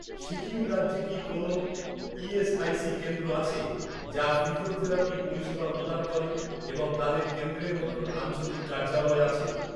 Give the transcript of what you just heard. সিকিম রাজ্যে কি কোনও ই.এস.আই.সি কেন্দ্র আছে, যা ফিজিওথেরাপি পরিষেবা প্রদান করে এবং তাদের কেন্দ্রের মতো আঞ্চলিক কার্যালয় আছে?